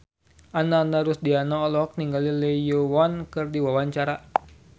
Ananda Rusdiana olohok ningali Lee Yo Won keur diwawancara